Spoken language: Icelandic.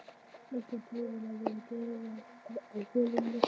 Nokkrar prófanir voru gerðar á holunni næstu árin.